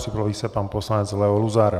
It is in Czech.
Připraví se pan poslanec Leo Luzar.